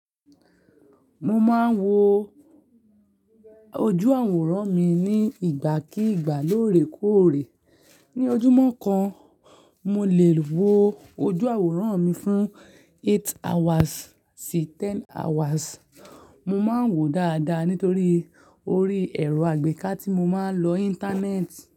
Mo máa ń wo ojú àwòrán mi ní ìgbà kì ìgbà lóòrèkóòrè. Ni ojúmọ́ kan, mo lè wo ojú àwòrán mi fún eight hours sí ten hours. Mo máa ń wòó dáadáa nítorí orí ẹ̀rọ àgbéká tí mo máa ń lo Íńtánẹ́ẹ̀tì.